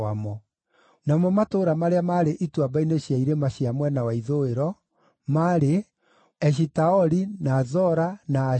Namo matũũra marĩa maarĩ ituamba-inĩ cia irĩma cia mwena wa ithũĩro: maarĩ Eshitaoli, na Zora, na Ashina,